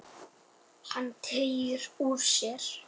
Hann teygir úr sér.